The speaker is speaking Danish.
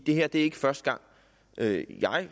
er ikke første gang jeg